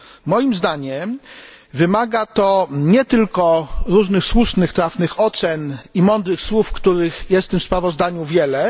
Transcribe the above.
Moim zdaniem, wymaga to nie tylko różnych słusznych, trafnych ocen i mądrych słów, których jest w tym sprawozdaniu wiele